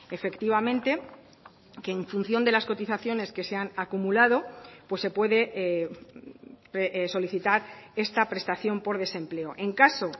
efectivamente que en función de las cotizaciones que se han acumulado pues se puede solicitar esta prestación por desempleo en caso